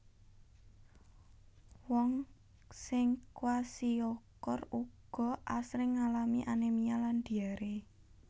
Wong sing kwashiorkor uga asring ngalami anémia lan diaré